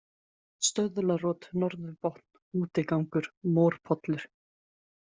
Stöðlarot, Norðurbotn, Útigangur, Morpollur